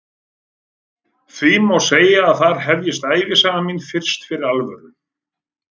Því má segja að þar hefjist ævisaga mín fyrst fyrir alvöru.